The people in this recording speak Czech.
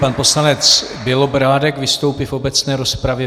Pan poslanec Bělobrádek vystoupí v obecné rozpravě.